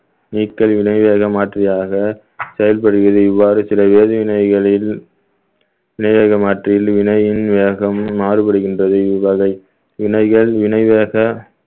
நீர்க்கழிவினையாக மாற்றியதாக செயல்படுவது இவ்வாறு சில வேதி வினைகளில் வினையின் மாறுபடுகின்றது இவ்வகை வினைகள் வினை வேக